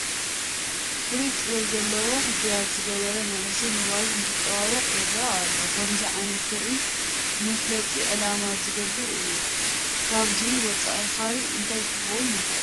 ፍሉይ ጥበብ ዘለዎ ሕድያት ዝገበረ መንእሰይ ሞባይል እንትጠዋውቕ ይርአ ኣሎ፡፡ ከምዚ ዓይነት ትርኢት ንመፋለጢ ዕላማ ዝግበር እዩ፡፡ ካብዚ ወፃኢ ካልእ እንታይ ክኸውን ይኽእል?